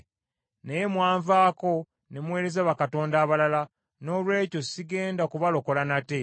Naye mwanvaako ne muweereza bakatonda abalala, noolwekyo sigenda kubalokola nate.